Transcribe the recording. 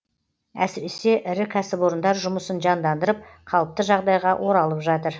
әсіресе ірі кәсіпорындар жұмысын жандандырып қалыпты жағдайға оралып жатыр